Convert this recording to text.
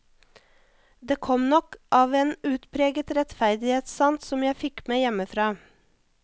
Det kom nok av en utpreget rettferdighetssans som jeg fikk med hjemmefra.